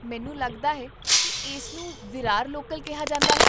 ਮੈਨੂੰ ਲੱਗਦਾ ਹੈ ਕਿ ਇਸਨੂੰ ਵਿਰਾਰ ਲੋਕਲ ਕਿਹਾ ਜਾਂਦਾ ਹੈ